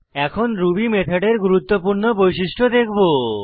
এখন রুবি মেথডের গুরুত্বপূর্ণ বৈশিষ্ট্য দেখব